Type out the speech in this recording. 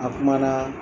A kuma na